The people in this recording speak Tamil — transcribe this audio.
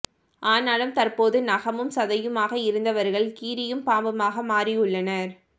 ஆனாலும் தற்போது நகமும் தசையுமாக இருந்தவர்கள் கீரியும் பாம்புமாக மாறியுள்ளனர்